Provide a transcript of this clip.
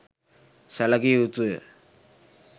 සැලකිය යුතු ය.